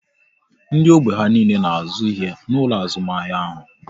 Ndị ógbè ha niile na azụ ihe n'ụlọ azụmahịa ahụ